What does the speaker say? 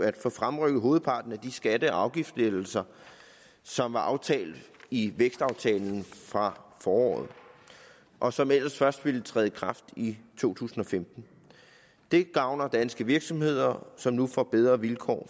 at få fremrykket hovedparten af de skatte og afgiftslettelser som var aftalt i vækstaftalen fra foråret og som ellers først ville træde i kraft i to tusind og femten det gavner danske virksomheder som nu får bedre vilkår